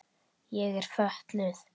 Ég er fötluð.